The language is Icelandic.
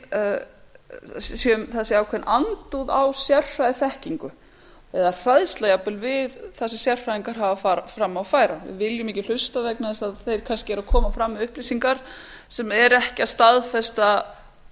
að það sé ákveðin andúð á sérfræðiþekkingu eða hræðsla jafnvel við það sem sérfræðingar hafa fram að færa við við viljum ekki hlusta vegna þess að þeir kannski eru að koma fram með upplýsingar sem eru ekki að